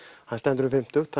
hann stendur um fimmtugt